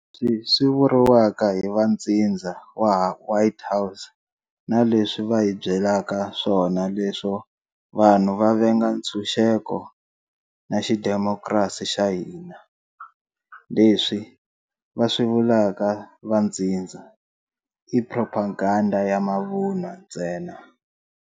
Leswi swi vuriwaka hi va ntsindza wa White House na leswi va hi byelaka swona leswo vanhu va venga nchunxeko na xidimokrasi xa hina, leswi va swi vulaka va ntsindza, i propaganda ya mavunwa ntsena.